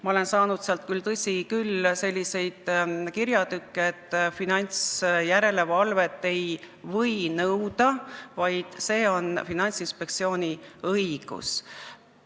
Ma olen saanud sealt, tõsi küll, selliseid kirjatükke, et finantsjärelevalvet ei või nõuda, vaid see järelevalve on Finantsinspektsiooni õigus.